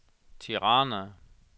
Tirana